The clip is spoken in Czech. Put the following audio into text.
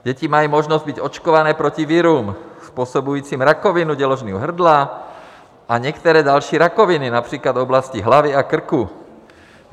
Děti mají možnost být očkované proti virům, způsobujícím rakovinu děložního hrdla a některé další rakoviny, například v oblasti hlavy a krku.